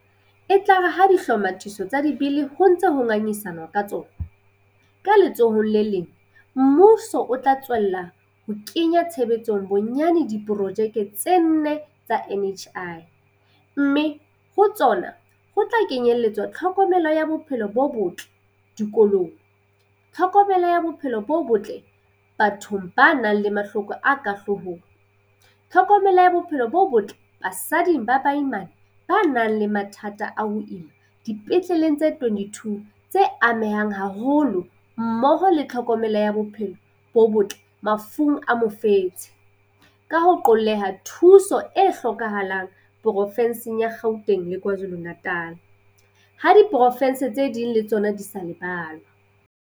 E tla re ha dihlomathiso tsa Dibili ho ntse ho ngangisa nwa ka tsona, ka letsohong le leng mmuso o tla tswella ho kenya tshebetsong bonyane diporojeke tse nne tsa NHI, mme ho tsona ho tla kenye lletsa tlhokomelo ya bophelo bo botle dikolong, tlhokomelo ya bophelo bo botle bathong ba nang le mahloko a ka hloohong, tlhokomelo ya bophelo bo botle basading ba baimane ba nang le mathata a ho ima dipetleleng tse 22 tse amehang haholo mmoho le tlhokomelo ya bophelo bo botle mafung a mofetshe, ka ho qolleha thu so e hlokahalang porofenseng ya Gauteng le KwaZulu-Na tal, ha diporofense tse ding le tsona di sa lebalwa.